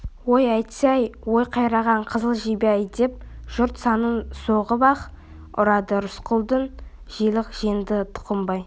ой әттесі-ай ой қайран қызыл жебе-ай деп жұрт санын соғып аһ ұрады рысқұлды желік жеңді тұқымбай